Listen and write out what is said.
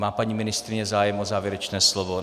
Má paní ministryně zájem o závěrečné slovo?